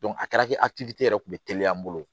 a kɛra kɛ hakilitigi yɛrɛ kun be teliya an bolo